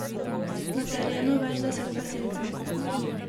Na terenu več deset gasilcev.